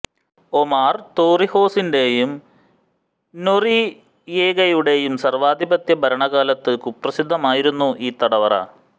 ഒമാർ തോറിഹോസിന്റെയും നൊറിയേഗയുടെയും സർവാധിപത്യ ഭരണക്കാലത്ത് കുപ്രസിദ്ധമായിരുന്നു ഈ തടവറ